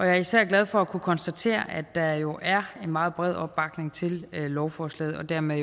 er især glad for at kunne konstatere at der jo er en meget bred opbakning til lovforslaget og dermed